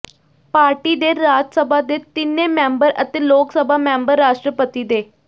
party ਦੇ ਰਾਜ ਸਭਾ ਦੇ ਤਿੰਨੇ ਮੈਂਬਰ ਅਤੇ ਲੋਕ ਸਭਾ ਮੈਂਬਰ ਰਾਸ਼ਟਰਪਤੀ ਦੇ